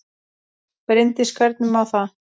Bryndís: Hvernig þá?